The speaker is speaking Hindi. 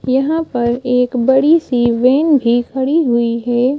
यहां पर एक बड़ी सी वैन भी खड़ी हुई है।